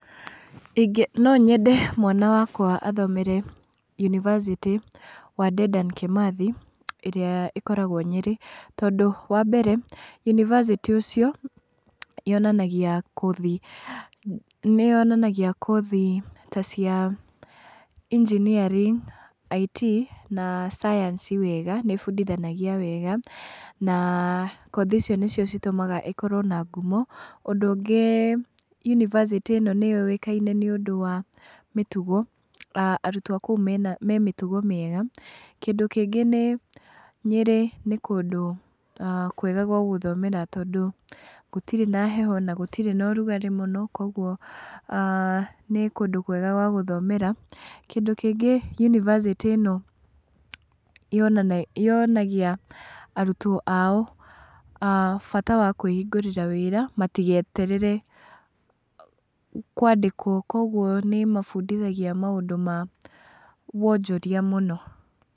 Ingĩ no nyende mwana wakwa athomere yunĩvasĩtĩ wa Dedan kimathi ĩrĩa ĩkoragwo nyerĩ, tondũ wa mbere yunĩvasĩtĩ ũcio yonanagia kothi, nĩ yonanagia kothi ta cia engineering IT na science wega , nĩ ĩbundithanagia wega, na kothi icio nĩcio citũmaga ĩkĩrwo na ngumo, ũndũ ũngĩ yunĩvasĩtĩ ĩno nĩ yũĩkaine nĩ ũndũ wa mĩtugo, a arutwo a kũu mena me mĩtugo mĩega , kĩndũ kĩngĩ nĩ nyerĩ nĩ kũndũ kwega gwa gũthomera tondũ gũtirĩ na heho na gũtirĩ na rugarĩ mũno, kwoguo nĩ kũndũ kwega gwa gũthomera, kĩndũ kĩngĩ yunĩvasĩtĩ ĩno yonagia arutwo ao a bata wa kwĩhingũrĩra wĩra matigeterere kwandĩkwo, kwoguo nĩ ĩmabundithagia maũndũ ma wonjoria mũno.